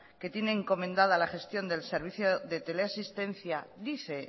que tiene encomendada la gestión del servicio de teleasistencia dice